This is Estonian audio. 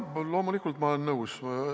Jah, loomulikult ma olen nõus.